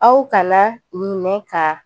Aw kana ɲinɛ ka